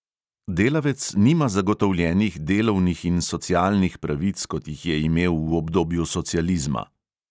Delavec nima zagotovljenih delovnih in socialnih pravic, kot jih je imel v obdobju socializma.